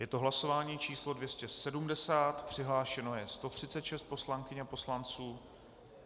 Je to hlasování číslo 270, přihlášeno je 136 poslankyň a poslanců.